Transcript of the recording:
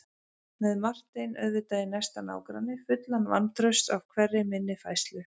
Með Martein auðvitað í næsta nágrenni, fullan vantrausts á hverri minni færslu.